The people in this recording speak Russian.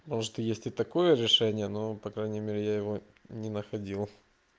может есть и такое решение но по крайней мере я его не находил